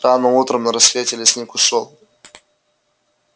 рано утром на рассвете лесник ушёл